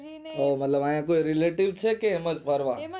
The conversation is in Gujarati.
મતલબ અન્ય જો relative છે એમજ ફરવા એમજ